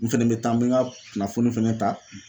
N fɛnɛ bɛ taa n bɛ n ka kunnafoni fɛnɛ ta